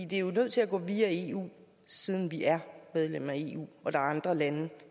det er jo nødt til at gå via eu siden vi er medlem af eu og der er andre lande